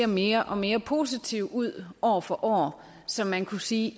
mere og mere positiv ud år for år så man kunne sige